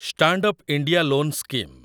stand up India loan scheme